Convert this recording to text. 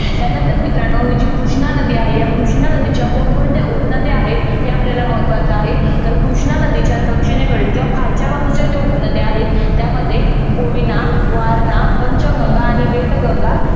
त्यानंतर मित्रानो ही जी कृष्णा नदी आहे ह्या कृष्णा नदीच्या कोण कोणत्या उपनद्या आहेत. हे आपल्याला महत्वाच आहे. तर कृष्ण नदीच्या दक्षिणेकडील किंवा खालच्या बाजूच्या ज्या उपनद्या आहेत. त्यामध्ये कोयना वारणा पंचगंगा आणि वेदगंगा